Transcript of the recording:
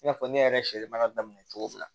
I n'a fɔ ne yɛrɛ sɛ baara daminɛ cogo min na